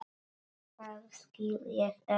Það skil ég ekki.